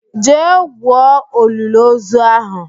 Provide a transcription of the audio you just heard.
Jee gwuo iliozu ahụ!